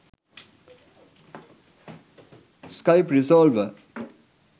skype resolver